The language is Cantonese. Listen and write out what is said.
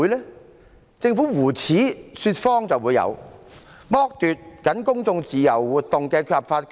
有的只是政府胡扯說謊，剝奪公眾自由活動的合法權利。